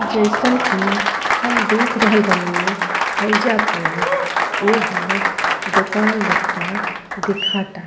जइसन कि हम देख रहल बानी हईजा प एगो दोकान लेखा दिखाता।